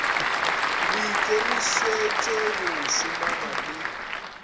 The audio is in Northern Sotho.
le ikemišetše go šomana le